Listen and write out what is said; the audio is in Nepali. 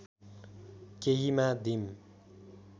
केहीमा दिम